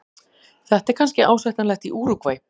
Þetta er kannski ásættanlegt í Úrúgvæ.